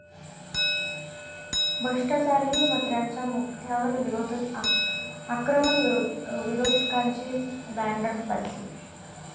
भ्रष्टाचारी मंत्र्यांच्या मुद्यावर विरोधक आक्रमक, विरोधकांची बॅनरबाजी